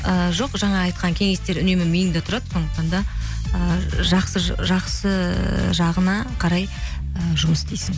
ііі жоқ жаңа айтқан кеңестер үнемі миыңда тұрады сондықтан да ы жақсы жағына қарай і жұмыс істейсің